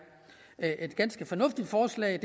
er et ganske fornuftigt forslag